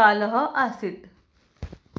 कालः आसीत्